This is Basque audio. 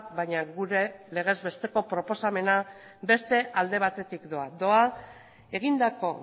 baina gure legez besteko proposamena beste alde batetik doa doa egindako